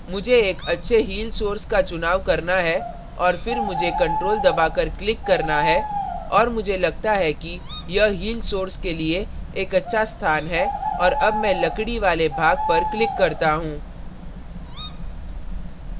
मुझे एक अच्छे heal source का चुनाव करना है और फिर मुझे ctrl दबाकर click करना है और मुझे लगता है कि यह heal source के लिए एक अच्छा स्थान है और अब मैं लकड़ी वाले भाग पर click करता हूँ